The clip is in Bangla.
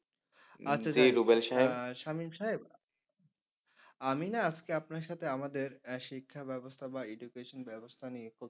আচ্ছা সামীম সাহেব আমি না আজকে আপনার সাথে আমাদের আহ শিক্ষা ব্যবস্থা বা education ব্যবস্থা নিয়ে